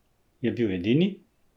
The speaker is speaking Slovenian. Je bil edini?